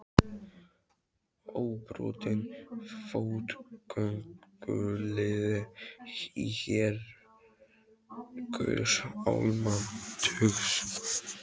Óbrotinn fótgönguliði í her guðs almáttugs.